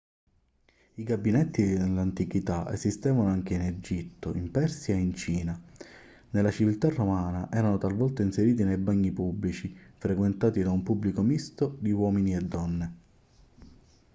i gabinetti nell'antichità esistevano anche in egitto in persia e in cina nella civiltà romana erano talvolta inseriti nei bagni pubblici frequentati da un pubblico misto di uomini e donne